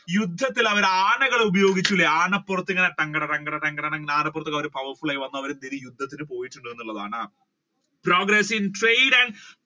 യുദ്ധത്തിൽ അവർ ആനകളെ ഉപയോഗിച്ച് ആനപ്പുറത്ത് കട കട കട ആനപ്പുറത്ത് അവർ യുദ്ധത്തിന് പോയിട്ടുണ്ടന്നുള്ളതാണ്. progress in trade and